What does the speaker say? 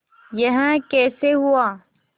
यह कैसे हुआ